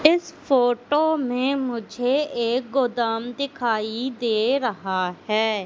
इस फोटो में मुझे एक गोदाम दिखाई दे रहा है।